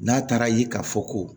N'a taara ye ka fɔ ko